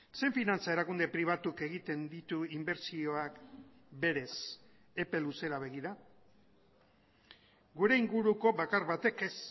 zein finantza erakunde pribatuk egiten ditu inbertsioak berez epe luzera begira gure inguruko bakar batek ez